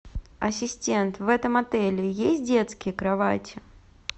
ассистент в этом отеле есть детские кровати